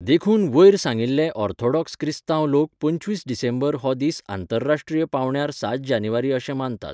देखून वयर सांगिल्ले ऑर्थोडॉक्स क्रिस्तांव लोक पंचवीस डिसेंबर हो दीस आंतरराश्ट्रीय पांवड्यार सात जानेवारी अशें मानतात.